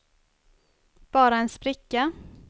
bara en spricka